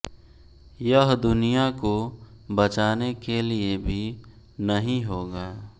यह दुनिया को बचाने के लिए भी नहीं होगा